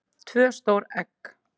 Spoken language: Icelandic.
tvö stór egg